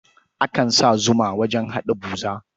Akan sa zuma wajen haɗa buza.